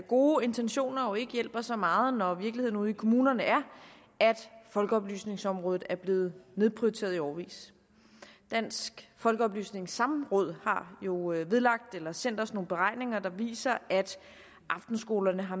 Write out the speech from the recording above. gode intentioner jo ikke hjælper så meget når virkeligheden ude i kommunerne er at folkeoplysningsområdet er blevet nedprioriteret i årevis dansk folkeoplysnings samråd har sendt os nogle beregninger der viser at aftenskolerne har